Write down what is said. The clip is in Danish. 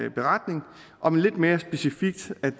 en beretning om lidt mere specifikt at